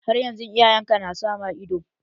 Har yanzu iyayen ka na sa ma ido?